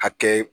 Hakɛ